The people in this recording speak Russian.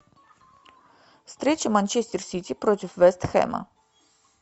встреча манчестер сити против вест хэма